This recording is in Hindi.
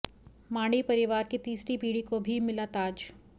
मांढी परिवार की तीसरी पीढ़ी को भी मिला ताज